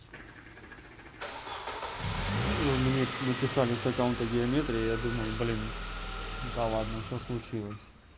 вы мне написали с аккаунта геометрии я думаю блин да ладно что случилось